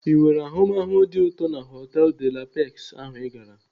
Ị nwere ahụmahụ dị ụtọ na họtelu De la Pex ahụ I gara?